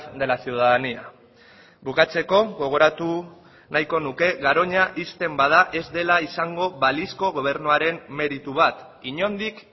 de la ciudadanía bukatzeko gogoratu nahiko nuke garoña ixten bada ez dela izango balizko gobernuaren meritu bat inondik